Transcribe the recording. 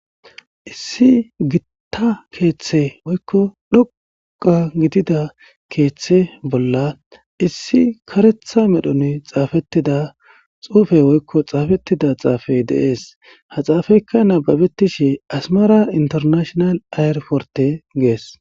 Issi Gita kethe woyko dhoqa gidida kethe bolla medhon xafetida xufey woyko xafetida xufey de'es. Ha xafeyka nababetishe asara ayir( air) porte ges